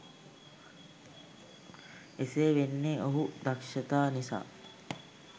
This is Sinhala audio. එසේ වෙන්නේ ඔහු දක්ෂතා නිසා